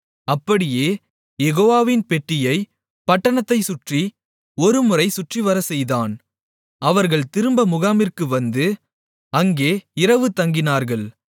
அப்படியே யெகோவாவின் பெட்டியைப் பட்டணத்தைச் சுற்றி ஒருமுறை சுற்றிவரச் செய்தான் அவர்கள் திரும்பப் முகாமிற்கு வந்து அங்கே இரவுதங்கினார்கள்